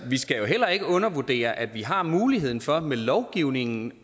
vi skal jo heller ikke undervurdere at vi har muligheden for med lovgivningen